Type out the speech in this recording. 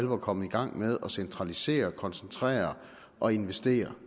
var kommet i gang med at centralisere og koncentrere og investere